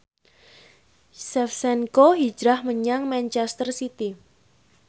Shevchenko hijrah menyang manchester city